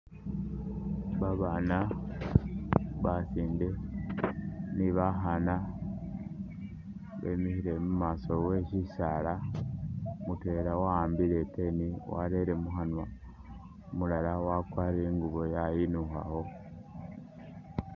Babaana basinde ne bakhaana bemikhile mumaaso we sisaala, mutwela waambile i'pen warele mukhanwa, umulala wakwarire ingubo yayinukhakho